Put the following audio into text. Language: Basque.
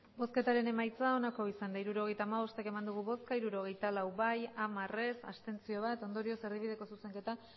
hirurogeita hamabost eman dugu bozka hirurogeita lau bai hamar ez bat abstentzio ondorioz erdibideko zuzenketa